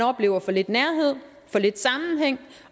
oplever for lidt nærhed og for lidt sammenhæng